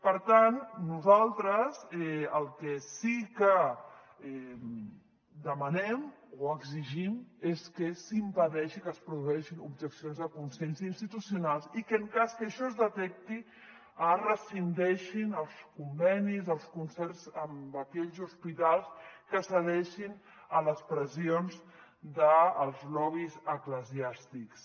per tant nosaltres el que sí que demanem o exigim és que s’impedeixi que es produeixin objeccions de consciència institucionals i que en cas que això es detecti es rescindeixin els convenis els concerts amb aquells hospitals que cedeixin a les pressions dels lobbys eclesiàstics